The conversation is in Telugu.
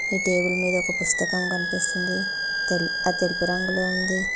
ఈ టేబుల్ మీద ఒక పుస్తకం కనిపిస్తుంది తెల్ అది తెలుపు రంగులో ఉంది.